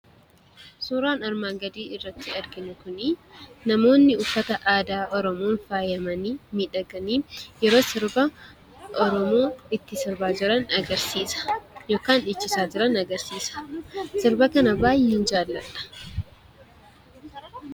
Suuraan armaan gadii irratti arginu kun namoonni uffata aadaa Oromoon faayamanii, miidhaganii yeroo sirba Oromoo itti sirbaa jiran agarsiisa; yookaan dhiichisaa jiran agarsiisa. Sirba kana baay'een Jaalladha.